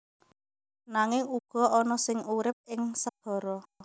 Nanging uga ana sing urip ing segara